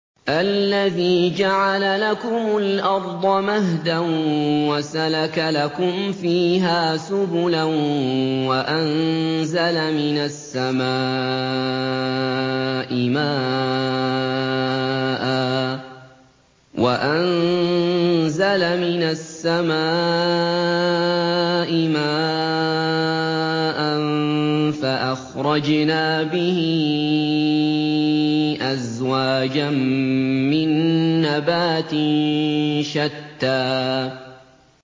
الَّذِي جَعَلَ لَكُمُ الْأَرْضَ مَهْدًا وَسَلَكَ لَكُمْ فِيهَا سُبُلًا وَأَنزَلَ مِنَ السَّمَاءِ مَاءً فَأَخْرَجْنَا بِهِ أَزْوَاجًا مِّن نَّبَاتٍ شَتَّىٰ